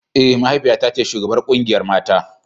Eh mahaifi ta ce shugabar kungiyar mata.